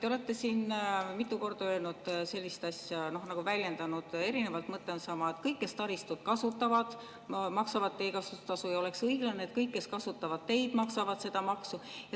Te olete siin mitu korda öelnud sellist asja – olete väljendunud erinevalt, aga mõte on sama –, et kõik, kes taristut kasutavad, maksavad teekasutustasu, ja oleks õiglane, kui kõik, kes kasutavad teid, maksavad seda maksu.